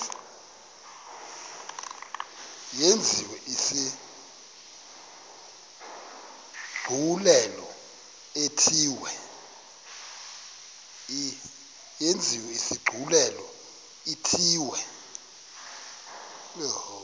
yenziwe isigculelo ithiwe